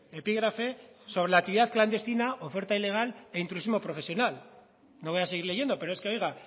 epígrafe sobre la actividad clandestina oferta ilegal e intrusismo profesional no voy a seguir leyendo pero es que oiga